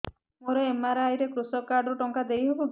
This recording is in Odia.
ମୋର ଏମ.ଆର.ଆଇ ରେ କୃଷକ କାର୍ଡ ରୁ ଟଙ୍କା ଦେଇ ହବ କି